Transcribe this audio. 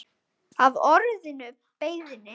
af orðinu beiðni?